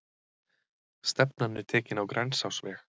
Stefnan er tekin á Grensásveg.